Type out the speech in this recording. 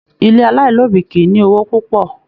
Ilé alailobi kìí ní owó púpọ̀.